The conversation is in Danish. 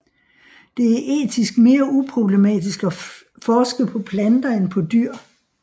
Det er etisk mere uproblematisk at forske på planter end på dyr